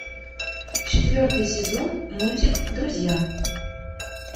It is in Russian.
четвертый сезон мультик друзья